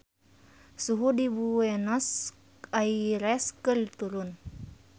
Suhu di Buenos Aires keur turun